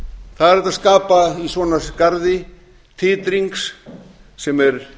það er hægt að skapa í svona garði titring sem er